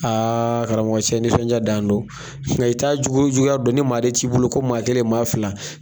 karamɔgɔ cɛ nisɔndiya dan don, nka i taa jugu juguya don ni maa de t'i bolo ko maa kelen, maa fila.